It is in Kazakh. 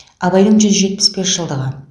абайдың жүз жетпіс бес жылдығы